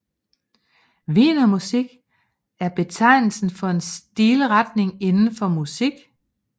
Wienermusik er betegnelsen for en stilretning inden for musik